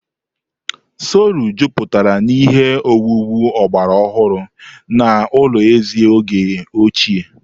Seolu juputara na ihe owuwu ọgbara ọhụrụ na ụlọ eze oge ochie.